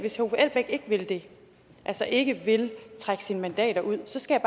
vil det altså ikke vil trække sine mandater ud skal